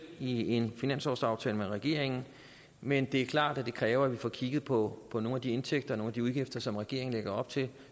i en finanslovsaftale med regeringen men det er klart at det kræver at vi får kigget på på nogle af de indtægter og de udgifter som regeringen lægger op til